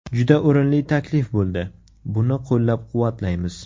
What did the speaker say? Juda o‘rinli taklif bo‘ldi, buni qo‘llab-quvvatlaymiz.